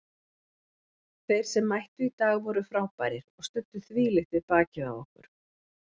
Þeir sem mættu í dag voru frábærir og studdu þvílíkt við bakið á okkur.